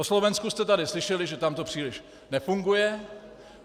O Slovensku jste tady slyšeli, že tam to příliš nefunguje.